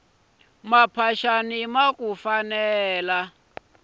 timphaxani taku fanela